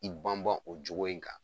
I banban o jogo in kan.